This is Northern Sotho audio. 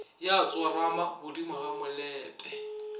ya tsorama godimo ga molope